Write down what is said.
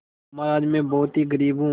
महाराज में बहुत ही गरीब हूँ